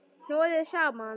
Hnoðið saman.